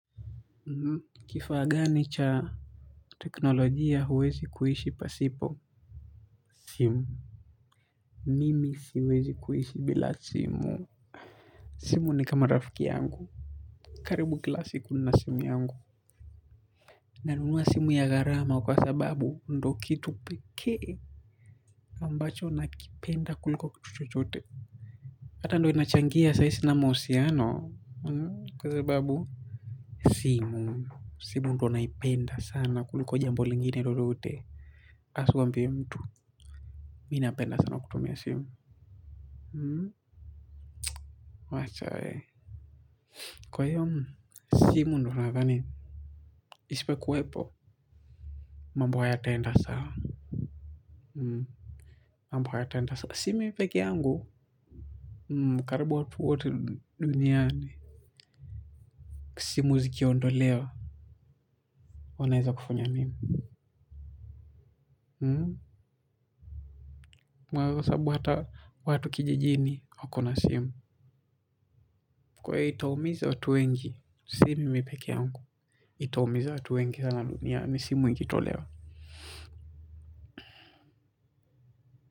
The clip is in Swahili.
Kifaa gani cha teknolojia huwezi kuhishi pasipo? Simu. Mimi siwezi kuhishi bila simu. Simu ni kama rafiki yangu. Karibu kila siku nina simu yangu. Nanunua simu ya gharama kwa sababu ndo kitu pekee ambacho nakipenda kuliko kitu chochote. Hata ndo inachangia saa izi sina mahusiaano, kwa sababu simu. Simu ndo naipenda sana kuliko jambo lingine lolote, asikuambie mtu, mi napenda sana kutumia simu. Wacha wee. Kwa hiyo simu ndo nadhani isipo kuwepo, mambo hayataenda sawa. Mambo hayataenda. Si mi pekeyangu. Karibu watu wote duniani. Simu zikiondolewa, unaweza kufanya nini? Mwagosabu hata watu kijijini wako na simu. Kwa hiyo itaumiza watu wengi. Si mimi peke yangu. Itaumiza watu wengi sana duniani. Simu ikitolewa.